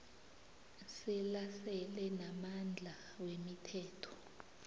selasele namandla wemithetho